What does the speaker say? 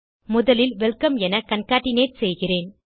முதலில் வெல்கம் என கான்கேட்னேட் செய்கிறேன்